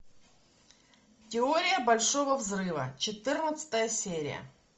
теория большого взрыва четырнадцатая серия